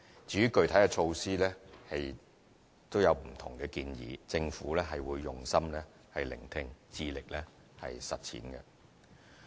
至於具體措施，則有不同建議，政府會用心聆聽，致力實踐。